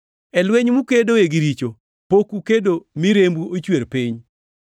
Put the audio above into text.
E lweny mukedoe gi richo, pok ukedo mi rembu ochwer piny.